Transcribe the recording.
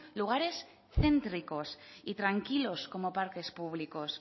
lugares céntricos y tranquilos como parques públicos